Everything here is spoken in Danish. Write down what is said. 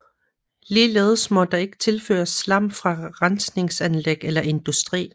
Ligeledes må der ikke tilføres slam fra rensningsanlæg eller industri